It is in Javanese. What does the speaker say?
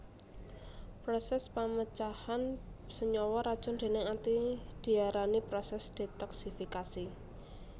Prosès pamecahan senyawa racun déning ati diarani prosès detoksifikasi